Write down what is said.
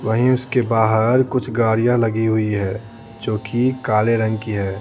वहीं उसके बाहर कुछ गाड़ियां लगी हुई है जो कि काले रंग की है।